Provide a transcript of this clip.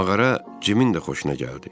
Mağara Cimin də xoşuna gəldi.